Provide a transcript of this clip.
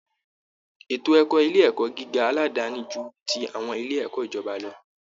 Ètò ẹ̀kọ́ Ilé ẹ̀kọ́ gíga aládàáni ju ti àwọn ilé ẹ̀kọ́ ìjọba lọ